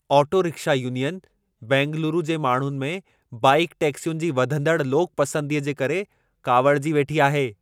Auto rickshaw union Bengaluru जे माण्हुनि में बाइक टैक्सियुनि जी वधंदड़ लोक पसंदीअ जे करे काविड़जी वेठी आहे।